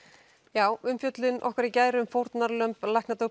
já umfjöllun okkar í gær um fórnarlömb